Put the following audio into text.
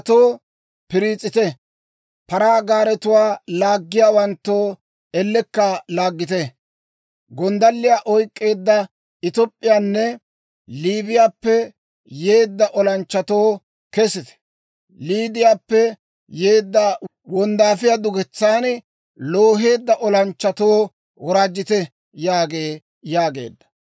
Paratoo, piriis'ite! Paraa gaaretuwaa laaggiyaawanttoo, ellekka laaggite! Gonddalliyaa oyk'k'eedda Top'p'iyaappenne Liibiyaappe yeedda olanchchatoo, kesite! Liidiyaappe yeedda wonddaafiyaa duketsan looheedda olanchchatoo, woraajjite!› yaagee» yaageedda.